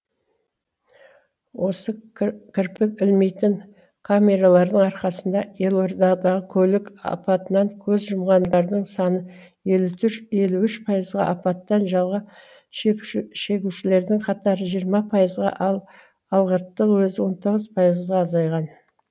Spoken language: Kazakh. осы к кірпік ілмейтін камералардың арқасында елордадағы көлік апатынан көз жұмғандардың саны елу үш пайызға апаттан жалға шегушілердің қатары жиырма пайызға ал алғыртың өзі он тоғыз пайызға азайған